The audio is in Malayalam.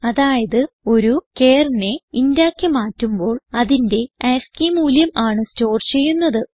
അതായത് ഒരു charനെ ഇന്റ് ആക്കി മാറ്റുമ്പോൾ അതിന്റെ ആസ്കി മൂല്യം ആണ് സ്റ്റോർ ചെയ്യുന്നത്